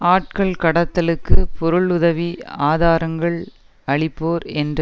ஆட்கள் கடத்தலுக்கு பொருள் உதவி ஆதாரங்கள் அளிப்போர் என்ற